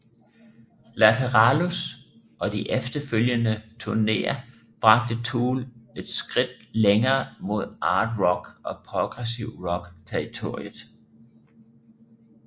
Lateralus og de efterfølgende turnéer bragte Tool et skridt længere mod art rock og progressiv rock territoriet